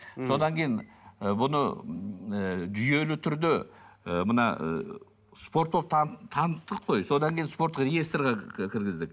содан кейін ы бұны ыыы жүйелі түрде ы мына ы таныттық қой содан кейін спорттық реесторға кіргіздік